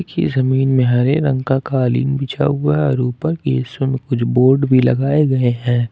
यह जमीन में हरे रंग का कालीन बिछा हुआ और इस ऊपर कुछ बोर्ड भी लगाए गए हैं।